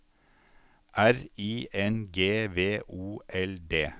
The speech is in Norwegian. R I N G V O L D